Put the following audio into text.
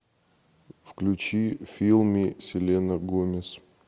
включи фил ми селена гомез